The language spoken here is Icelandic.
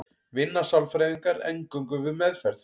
vinna sálfræðingar eingöngu við meðferð